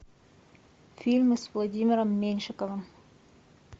фильмы с владимиром меньшиковым